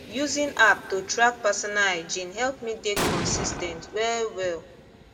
using app to track personal hygiene help me dey consis ten t well well